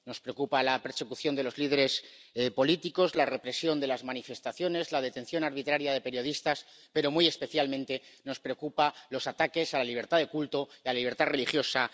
Nos preocupa la persecución de los líderes políticos, la represión de las manifestaciones, la detención arbitraria de periodistas, pero muy especialmente nos preocupan los ataques a la libertad de culto y a la libertad religiosa.